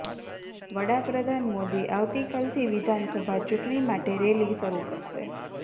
વડાપ્રધાન મોદી આવતી કાલથી વિધાનસભા ચૂંટણી માટે રેલી શરૂ કરશે